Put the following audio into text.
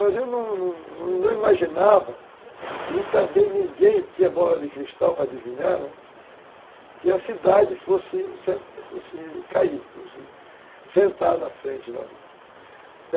Mas eu não não imaginava, e também ninguém tinha bola de cristal para adivinhar, né, que a cidade fosse cair, sentar na frente.